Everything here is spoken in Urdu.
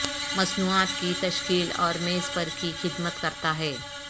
مصنوعات کی تشکیل اور میز پر کی خدمت کرتا ہے